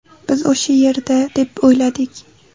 Biz o‘sha yerda deb o‘yladik.